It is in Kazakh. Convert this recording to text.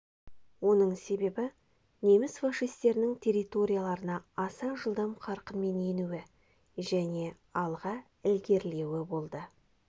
оның себебі неміс-фашистерінің территорияларына аса жылдам қарқынмен енуі және алға ілгерілеуі болды